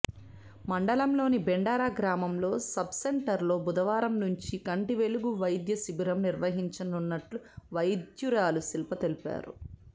మండలంలోని బెండార గ్రామంలోని సబ్సెంటర్లో బుధవారం నుంచి కంటి వెలుగు వైద్యశిబిరం నిర్వహించ నున్నట్లు వైద్యురాలు శిల్ప తెలిపారు